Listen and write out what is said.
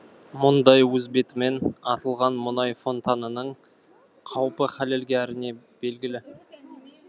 мұндай өз бетімен атылған мұнай фонтанының қаупі хәлелге әрине белгілі